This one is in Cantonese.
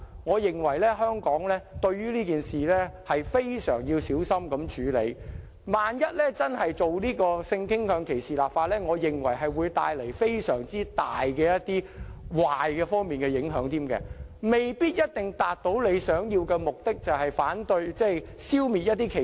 我認為香港對這件事要非常小心地處理，一旦真的就性傾向歧視立法，會帶來非常大的壞影響之餘，卻未必一定能達致預期目的，就是消滅歧視。